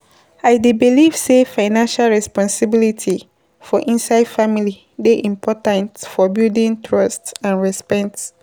I dey believe say financial responsibilities for inside family dey important for building trust and respect.